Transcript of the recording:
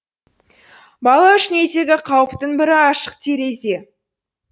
бала үшін үйдегі қауіптің бірі ашық терезе